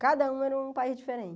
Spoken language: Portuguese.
Cada uma era um país diferente.